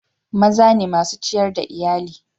Maza ne masun ciyar da Iyalli.